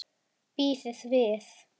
Bíðið við!